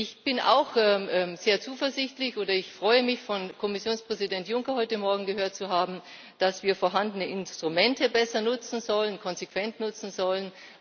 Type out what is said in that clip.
Ich bin auch sehr zuversichtlich, oder ich freue mich, von Kommissionspräsident Juncker heute Morgen gehört zu haben, dass wir vorhandene Instrumente besser nutzen sollen, sie konsequent nutzen sollen.